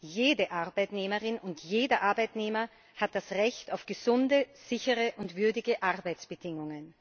Jede Arbeitnehmerin und jeder Arbeitnehmer hat das Recht auf gesunde, sichere und würdige Arbeitsbedingungen.